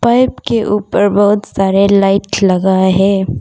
Rack के ऊपर बहुत सारे लाइट लगा है।